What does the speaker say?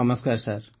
ନମସ୍କାର ସାର୍